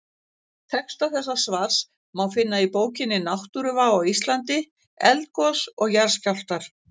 Texta þessa svars má finna í bókinni Náttúruvá á Íslandi: Eldgos og jarðskjálftar.